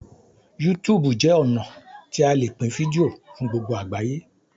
YouTube jé ọnà tí a lẹ Pin fídíò fún gbogbo àgbáyé.